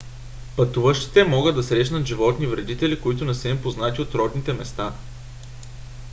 пътуващите могат да срещнат животни вредители които не са им познати от родните места